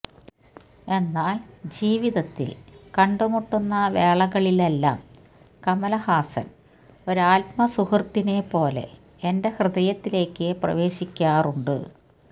എന്നാല് ജീവിതത്തില് കണ്ടുമുട്ടുന്ന വേളകളിലെല്ലാം കമല്ഹാസന് ഒരാത്മസുഹൃത്തിനെ പോലെ എന്റെ ഹൃദയത്തിലേക്ക് പ്രവേശിക്കാറുണ്ട്